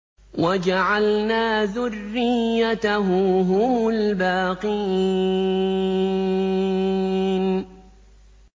وَجَعَلْنَا ذُرِّيَّتَهُ هُمُ الْبَاقِينَ